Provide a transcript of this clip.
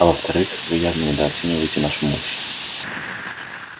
а во вторых вы явно недооцениваете нашу мощь